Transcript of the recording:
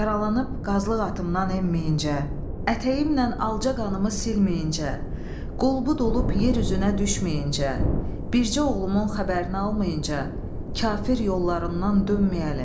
Yaralanıb qazlıq atımdan enməyincə, ətəyimlə alca qanımı silməyincə, qol bu olub yer üzünə düşməyincə, bircə oğlumun xəbərini almayınca, kafir yollarından dönməyəlim.